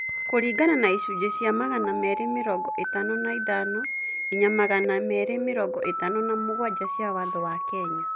Kũringana na icunjĩ cia magana merĩ mĩrongo ĩtano na ithano nginya magana merĩ mĩrongo ĩtano na mũgwanja cia watho wa Kenya.